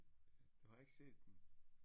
Du har ikke set den